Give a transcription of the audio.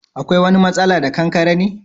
Akwai wani masala da Kankare ne?